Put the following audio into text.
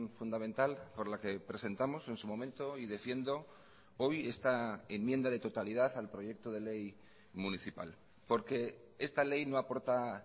fundamental por la que presentamos en su momento y defiendo hoy esta enmienda de totalidad al proyecto de ley municipal porque esta ley no aporta